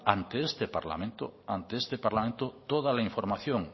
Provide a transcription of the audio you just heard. ante este parlamento toda la información